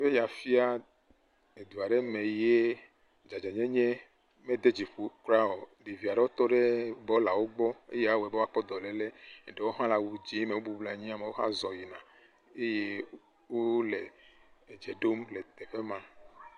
Eya fia edu aɖe me ye dzadzanyenye mede dziƒo kura o, ɖevi aɖewo tɔ ɖe bɔlawo gbɔ eya awɔe be woatsɔ dɔléle eɖewo hã le awu tsi me eye amewo hã zɔ yina eye wole edz ɖom le teƒe ma.